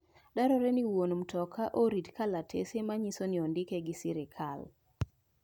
Dwarore ni wuon mtoka orit kalatese manyiso ni ondike gi sirkal.